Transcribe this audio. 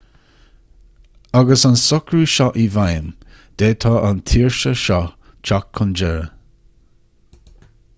agus an socrú seo i bhfeidhm d'fhéadfadh an tsaoirse seo teacht chun deiridh